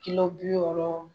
kilo bi wɔɔrɔ